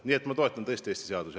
Nii et ma tõesti toetan Eesti seadusi.